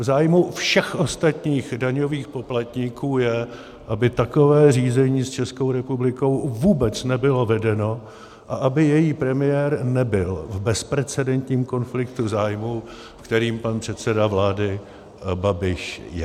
V zájmu všech ostatních daňových poplatníků je, aby takové řízení s Českou republikou vůbec nebylo vedeno a aby její premiér nebyl v bezprecedentním konfliktu zájmů, v kterém pan předseda vlády Babiš je.